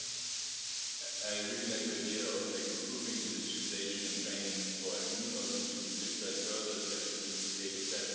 I really like your idea of improving digitisation and training for SMEs, also to digitise further, especially since the Data Strategy is coming up.